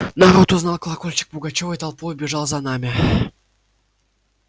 народ узнал колокольчик пугачёва и толпою бежал за нами